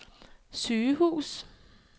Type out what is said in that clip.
sygehus